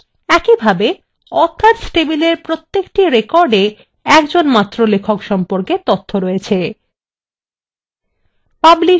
একইভাবে authors table প্রত্যেকটি record মাত্র একজন লেখক সম্পর্কে তথ্য রয়েছে